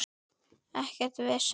Ekkert vesen.